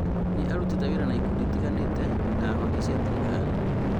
Nĩ arutĩte wĩra na ikundi itiganĩte na honge cia thirikari